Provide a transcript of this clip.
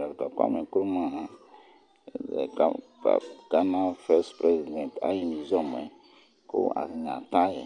Docta Kwami N'kruma ghana ayu utiɔla alɔtɔniɛ ayi